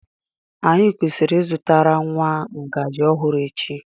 Anyị kwesịrị ịzụtara nwa ngaji ọhụrụ echi.